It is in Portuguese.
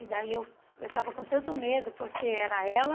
E daí eu eu estava com tanto medo, porque era ela...